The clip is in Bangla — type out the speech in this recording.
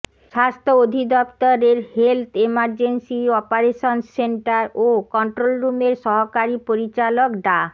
স্বাস্থ্য অধিদপ্তরের হেলথ ইমার্জেন্সি অপারেশন্স সেন্টার ও কন্ট্রোল রুমের সহকারী পরিচালক ডা